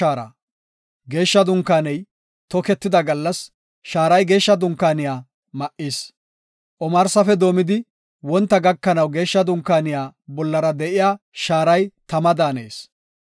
Geeshsha Dunkaaney toketida gallas shaaray Geeshsha Dunkaaniya ma7is. Omarsafe doomidi, wonta gakanaw Geeshsha Dunkaaniya bollara de7iya shaaray tama daanees.